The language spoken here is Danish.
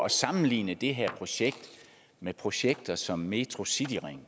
at sammenligne det her projekt med projekter som metrocityringen